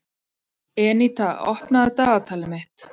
Eníta, opnaðu dagatalið mitt.